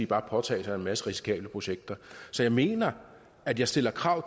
bare påtage sig en masse risikable projekter så jeg mener at jeg stiller krav